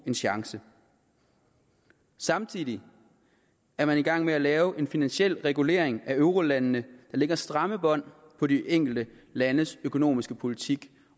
en chance samtidig er man i gang med at lave en finansiel regulering af eurolandene der lægger stramme bånd på de enkelte landes økonomiske politik